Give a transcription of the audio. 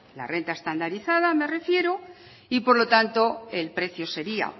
la renta estandarizada me refiero y por lo tanto el precio sería